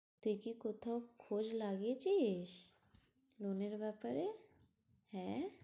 তুই কি কোথাও খোঁজ লাগিয়েছিস loan এর ব্যাপারে, হ্যাঁ?